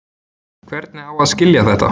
Hvernig á að skilja þetta?